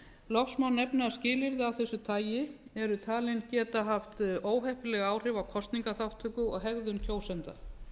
loks má nefna að skilyrði af þessu tagi eru talin geta haft óheppileg áhrif á kosningaþátttöku og hegðun kjósenda